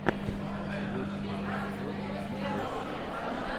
лучший эпизод никлесс